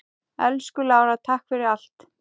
Elsku Lára, takk fyrir allt.